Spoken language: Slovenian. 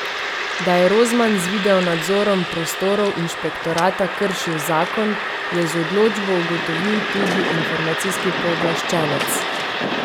Da je Rozman z videonadzorom prostorov inšpektorata kršil zakon, je z odločbo ugotovil tudi informacijski pooblaščenec.